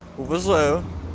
уважаю